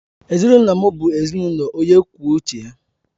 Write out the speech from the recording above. Ezinụlọ m bụ ezinụlọ onye kwuo uche ya.